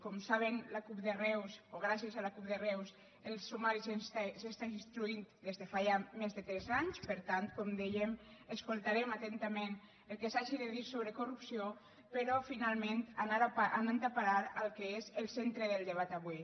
com saben la cup de reus o gràcies a la cup de reus el sumari s’està instruint des de fa ja més de tres anys per tant com dèiem escoltarem atentament el que s’hagi de dir sobre corrupció però finalment anant a parar al que és el centre del debat avui